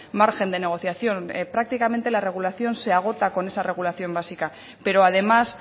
margen de negociación prácticamente la regulación se agota con esa regulación básica pero además